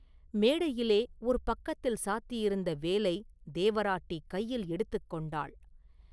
மேடையிலே ஒரு பக்கத்தில் சாத்தியிருந்த வேலைத் தேவராட்டி கையில் எடுத்துக் கொண்டாள்.